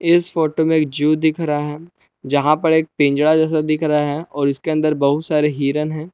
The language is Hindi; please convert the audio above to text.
इस फोटो में एक जू दिख रहा है यहां पर एक पिंजरा जैसा दिख रहा है और इसके अंदर बहुत सारे हिरण हैं।